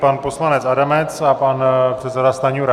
Pan poslanec Adamec a pan předseda Stanjura.